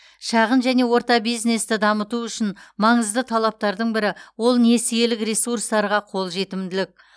шағын және орта бизнесті дамыту үшін маңызды талаптардың бірі ол несиелік ресурстарға қолжетімдік